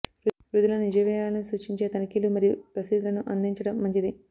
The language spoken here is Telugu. వృద్ధుల నిజ వ్యయాలను సూచించే తనిఖీలు మరియు రసీదులను అందించడం మంచిది